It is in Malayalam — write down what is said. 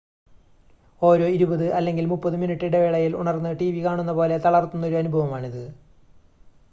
ഓരോ ഇരുപത് അല്ലെങ്കിൽ മുപ്പത് മിനുട്ട് ഇടവേളയിൽ ഉണർന്ന് ടിവി കാണുന്ന പോലെ തളർത്തുന്നൊരു അനുഭവമാണിത്